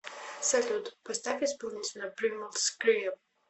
салют поставь исполнителя примал скрим